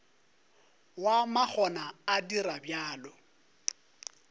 wa makgona o dira bjalo